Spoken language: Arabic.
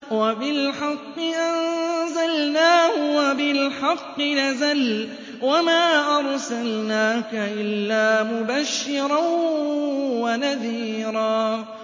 وَبِالْحَقِّ أَنزَلْنَاهُ وَبِالْحَقِّ نَزَلَ ۗ وَمَا أَرْسَلْنَاكَ إِلَّا مُبَشِّرًا وَنَذِيرًا